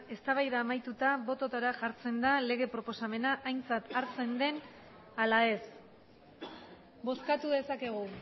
eztabaida amaituta botoetara jartzen da lege proposamena aintzat hartzen den ala ez bozkatu dezakegu